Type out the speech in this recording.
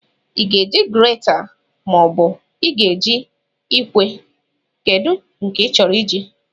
Ị ga-eji grate, maobu ị ga-eji ikwe kedu nke ịchọrọ iji?